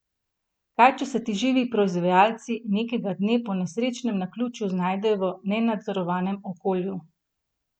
Kaj če se ti živi proizvajalci nekega dne po nesrečnem naključju znajdejo v nenadzorovanem okolju?